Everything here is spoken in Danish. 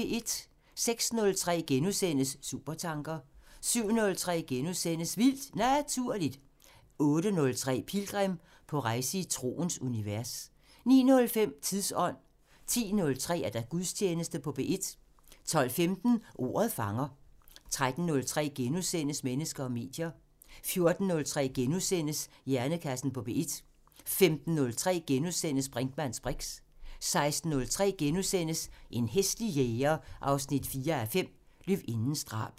06:03: Supertanker * 07:03: Vildt Naturligt * 08:03: Pilgrim – på rejse i troens univers 09:05: Tidsånd 10:03: Gudstjeneste på P1 12:15: Ordet fanger 13:03: Mennesker og medier * 14:03: Hjernekassen på P1 * 15:03: Brinkmanns briks * 16:03: En hæslig jæger 4:5 – Løvindens drab *